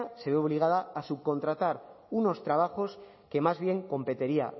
se ve obligada a subcontratar unos trabajos que más bien competería